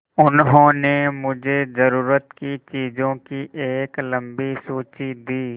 उन्होंने मुझे ज़रूरत की चीज़ों की एक लम्बी सूची दी